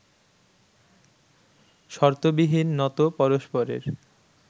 শর্তবিহীন নত পরস্পরের